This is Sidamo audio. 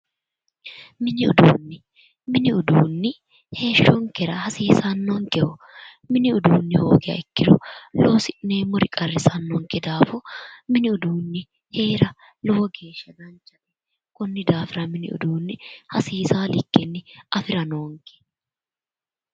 Mini uduunne. Mini uduunni heeshshonkera hasiisannonkeho. Mini uduunni hoogiha ikkiro loosi'neemmori qarrisannonke daafo mini uduunni heera lowo geeshsha danchate. Konni daafira hasiisawo likkenni afira noonke.